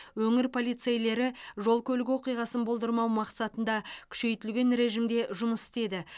өңір полицейлері жол көлік оқиғасын болдырмау мақсатында күшейтілген режимде жұмыс істеді